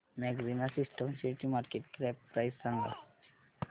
maxima systems शेअरची market cap price सांगा